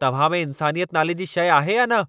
तव्हां में इन्सानियत नाले जी शइ आहे या न?